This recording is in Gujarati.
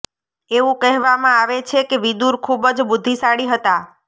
એવું કહેવામાં આવે છે કે વિદુર ખૂબ જ બુદ્ધિશાળી હતા